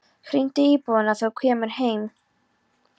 Hringdu í búðina þegar þú kemur heim.